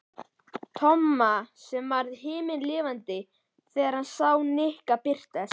Tomma sem varð himinlifandi þegar hann sá Nikka birtast.